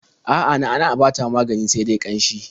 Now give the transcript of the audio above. A'a, na'a-na'a ba ta magani sai ƙanshi.